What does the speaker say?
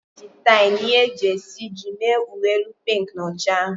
E ji tie na ihe e ji esiji mee uwe elu pink na ọcha ahụ.